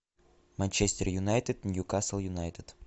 манчестер юнайтед ньюкасл юнайтед